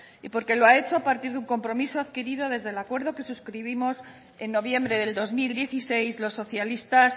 y porque lo ha hecho a partir de un compromiso adquirido desde el acuerdo que suscribimos en noviembre del dos mil dieciséis los socialistas